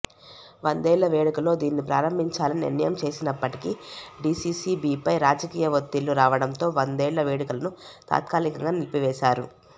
వందేళ్ల వేడుకలో దీనిని ప్రారంభించాలని నిర్ణయం చేసినప్పటికీ డీసీసీబీపై రాజకీయ ఒత్తిళ్లు రావడంతో వందేళ్ల వేడుకలను తాత్కాలికంగా నిలిపి వేశారు